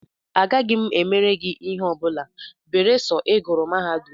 Agaghị m emere gị ihe ọ bụla beresọ I gụrụ mahadum!